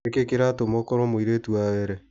Nĩkĩ kĩratũma ũkoro mũirĩtu wa Were.